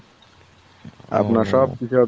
আপনার সব কিছু